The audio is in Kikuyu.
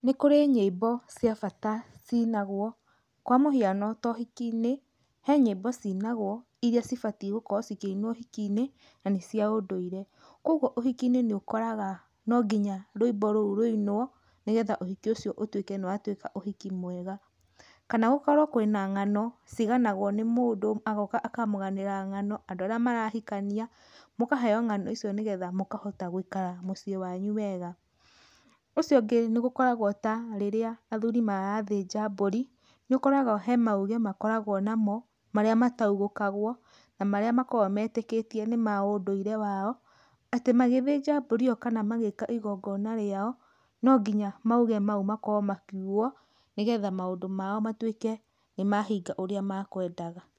Nĩ kũri nyĩmbo cia bata ciinagwo, kwa mũhiano tohiki-inĩ, he nyĩmbo cinagwo iria cibatiĩ gũkorwo cikĩinwo ũhiki-inĩ na nĩ cia ũndũire. Kogwo ũhiki-inĩ nĩũkoraga nonginya rwĩmbo rũu rũinwo, nĩgetha ũhiki ũcio ũtuĩke nĩ watuĩka ũhiki mwega. Kana gũkorwo kwĩna ng'ano ciganagwo nĩ mũndũ, agoka akamũganĩra ng'ano andũ arĩa marahikania, mũkaheyo ng'ano icio nĩgetha mũkahota gũikara mũciĩ wanyu wega. Ũcio ũngĩ nĩgũkoragwo ta rĩrĩa athuri marathĩnja mbũri, nĩũkoragwo he mauge makoragwo namo marĩa mataugũkagwo, na marĩa makoragwo metĩkĩtie nĩ ma ũndũire wao, atĩ magĩthĩnja mbũri ĩyo kana magĩka igongona rĩao, nonginya mauge mau makorwo makiugwo, nĩgetha maũndũ mao matuĩke nĩmahinga ũrĩa makwendaga.